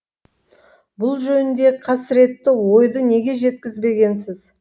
бұл жөніндегі қасіретті ойды неге жеткізбегенсіз